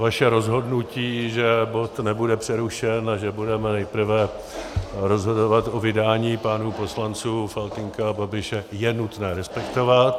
Vaše rozhodnutí, že bod nebude přerušen a že budeme nejprve rozhodovat o vydání pánů poslanců Faltýnka a Babiše, je nutné respektovat.